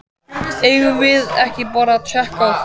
Eigum við ekki bara að tékka á því?